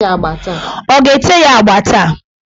Ọ ga-ete ya agba taa?